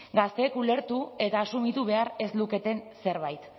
gazteek ulertu eta asumitu behar ez luketen zerbait